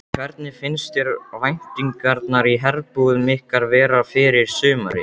Hvernig finnst þér væntingarnar í herbúðum ykkar vera fyrir sumarið?